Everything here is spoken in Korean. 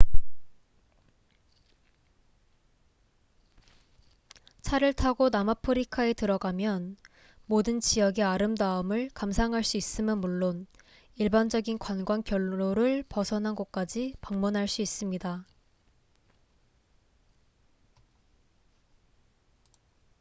차를 타고 남아프리카에 들어가면 모든 지역의 아름다움을 감상할 수 있음은 물론 일반적인 관광 경로를 벗어난 곳까지 방문할 수 있습니다